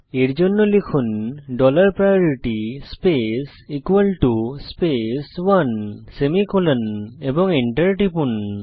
এর জন্য লিখুন dollar priority space space one semicolon এবং এন্টার টিপুন